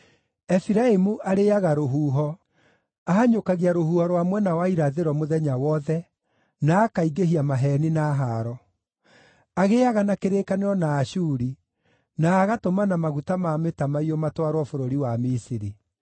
Efiraimu arĩĩaga rũhuho; ahanyũkagia rũhuho rwa mwena wa irathĩro mũthenya wothe, na akaingĩhia maheeni na haaro. Agĩĩaga na kĩrĩkanĩro na Ashuri, na agatũmana maguta ma mĩtamaiyũ matwarwo bũrũri wa Misiri.